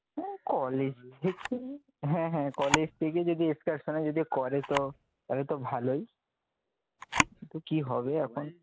হু college দেখি হ্যাঁ হ্যাঁ কলেজ থেকে যদি excursion এ যদি করে তো তাহলে তো ভালোই, কি হবে এখন